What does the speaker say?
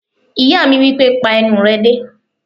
Ìyá mi wípé "pa ẹnu rẹ dé!"